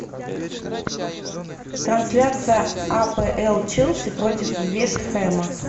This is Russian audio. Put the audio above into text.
трансляция апл челси против вест хэма